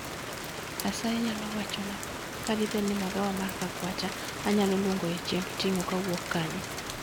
Asayi inyalo wachona kadibed ni magawa mar kakwacha anyalo luongoe chiemb ting'o kowuok kanyo